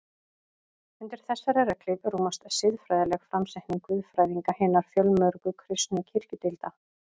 Undir þessari regnhlíf rúmast siðfræðileg framsetning guðfræðinga hinna fjölmörgu kristnu kirkjudeilda.